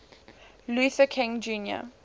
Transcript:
luther king jr